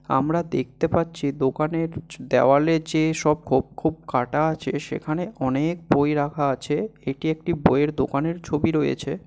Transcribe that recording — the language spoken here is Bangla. আমরা দেখতে পাচ্ছি দোকানের জ দেয়ালে যেসব খোপ খোপ কাটা আছে সেখানে অনেক বই রাখা আছে। এটি একটি বইয়ের দোকানের ছবি রয়েছে।